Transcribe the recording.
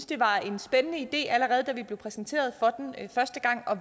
det var en spændende idé allerede da vi blev præsenteret for den første gang og